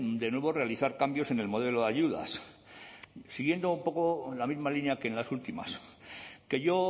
de nuevo realizar cambios en el modelo de ayudas siguiendo un poco en la misma línea que en las últimas que yo